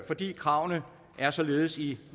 fordi kravene er således i